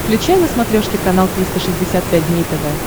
включай на смотрешке канал триста шестьдесят пять дней тв